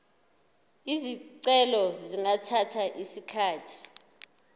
izicelo zingathatha isikhathi